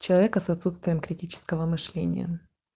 человека с отсутствием критического мышления